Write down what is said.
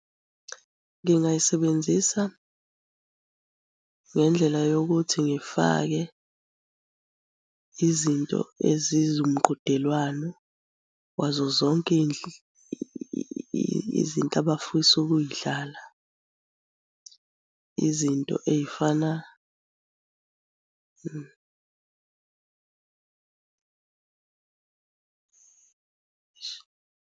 Ngingayisebenzisa ngendlela yokuthi ngifake izinto ezizumqhudelwano wazo zonke izinto abafisa ukuy'dlala, izinto ey'fana.